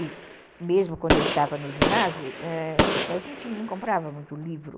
E mesmo quando eu estava no ginásio, eh, a gente não comprava muito livro.